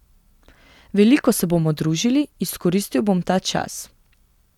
Veliko se bomo družili, izkoristil bom ta čas.